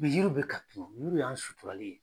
Yiriw bɛ ka tunun, yiriw y'an suturalen ye.